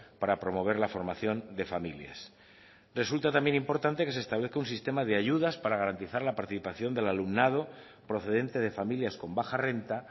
para promover la formación de familias resulta también importante que se establezca un sistema de ayudas para garantizar la participación del alumnado procedente de familias con baja renta